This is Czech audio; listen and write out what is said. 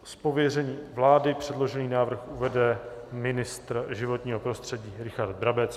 Z pověření vlády předložený návrh uvede ministr životního prostředí Richard Brabec.